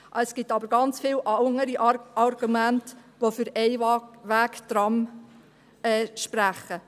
Es gibt aber sehr viele andere Argumente, die für Einwegtrams sprechen.